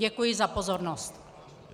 Děkuji za pozornost.